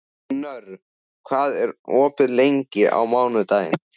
Knörr, hvað er opið lengi á mánudaginn?